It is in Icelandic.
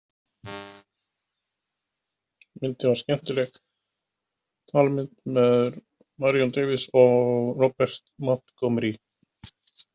Myndin var skemmtileg talmynd með Marion Davies og Robert Montgomery.